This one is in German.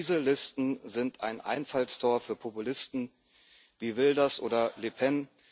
Diese Listen sind ein Einfallstor für Populisten wie Wilders oder Le Pen.